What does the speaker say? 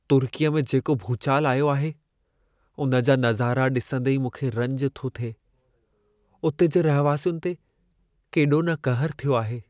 तुर्कीअ में जेको भूचाल आयो आहे, उन जा नज़ारा ॾिसंदी ई मूंखे रंज थो थिए। उते जे रहिवासियुनि ते केॾो न कहर थियो आहे।